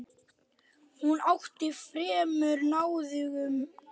Hún átti fremur náðugan dag.